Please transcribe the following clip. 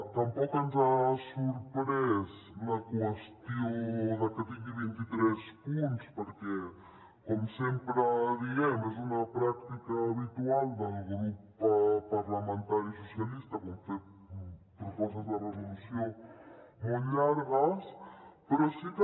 tampoc ens ha sorprès la qüestió de que tingui vint i tres punts perquè com sempre diem és una pràctica habitual del grup parlamentari socialistes fer propostes de resolució molt llargues però sí que